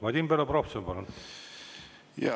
Vadim Belobrovtsev, palun!